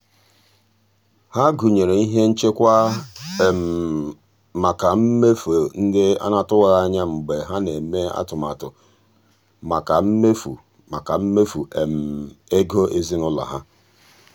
ha gụnyere ihe nchekwa maka mmefu ndị atụwaghị anya mgbe ha na-eme atụmatụ maka mmefu maka mmefu ego ezinụụlọ ha.